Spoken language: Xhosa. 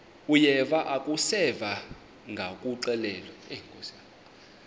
uyeva akuseva ngakuxelelwa